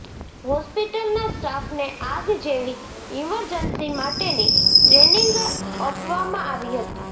હોસ્પિટલના સ્ટાફને આગ જેવી ઇમર્જન્સી માટેની ટ્રેનિંગ અપવામાં આવી હતી